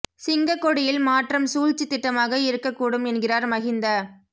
சிங்கக் கொடியில் மாற்றம் சூழ்ச்சித் திட்டமாக இருக்கக் கூடும் என்கிறார் மஹிந்த